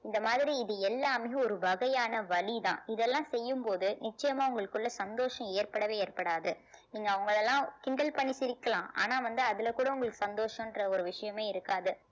இந்த மாதிரி இது எல்லாமே ஒரு வகையான வலி தான் இதெல்லாம் செய்யும்போது நிச்சயமா உங்களுக்குள்ள சந்தோஷம் ஏற்படவே ஏற்படாது நீங்க அவங்களை எல்லாம் கிண்டல் பண்ணி சிரிக்கலாம் ஆனா வந்து அதுல கூட உங்களுக்கு சந்தோஷம்ன்ற ஒரு விஷயமே இருக்காது